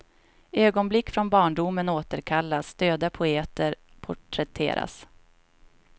Ögonblick från barndomen återkallas, döda poeter porträtteras.